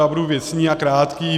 Já budu věcný a krátký.